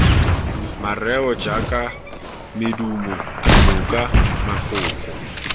mareo jaaka medumo dinoko mafoko